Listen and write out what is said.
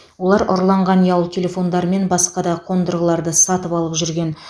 олар ұрланған ұялы телефондар мен басқа да қондырғыларды сатып алып жүрген